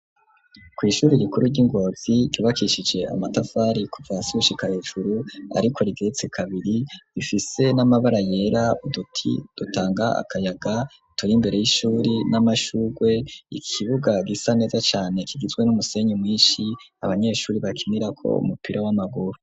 Kw' ishuri gikuru ry'ingozi ryubakishije amatafari kuva gushika hejuru, ariko rigeretse kabiri ,rifise n'amabara yera ,uduti dutanga akayaga ,turi mbere y'ishuri ,n'amashugwe ikibuga gisa neza cane, kigizwe n'umusenyi mwishi abanyeshuri bakinira ko umupira w'amaguru.